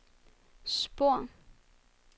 spor